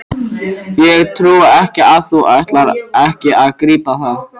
Ég trúi ekki að þú ætlir ekki að grípa það!